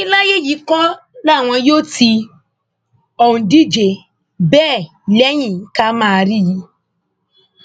wọn ní láyé yìí kọ làwọn yóò ti òǹdíje bẹẹ lẹyìn ká máa rí i